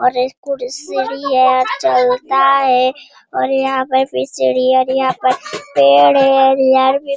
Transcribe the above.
और इस कुर सीढ़ी है चलता है और यहाँ पर भी सीढ़ी है और यहाँ पर पेड़ है यहाँ ----